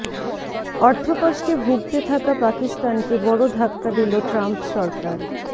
অর্থকষ্টে ভুগতে থাকা পাকিস্তানকে বড় ধাক্কা দিল ট্রাম্প সরকার